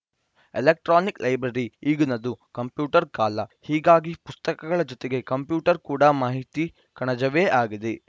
electronic library ಈಗಿನದು computer ಕಾಲ ಹೀಗಾಗಿ ಪುಸ್ತಕಗಳ ಜೊತೆಗೆ ಕಂಪ್ಯೂಟರ್‌ ಕೂಡ ಮಾಹಿತಿ ಕಣಜವೇ ಆಗಿದೆ